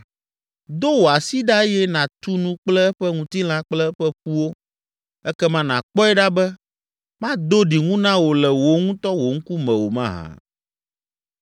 Do wò asi ɖa eye nàtu nu kple eƒe ŋutilã kple eƒe ƒuwo, ekema nàkpɔe ɖa be mado ɖiŋu na wò le wò ŋutɔ wò ŋkume o mahã?”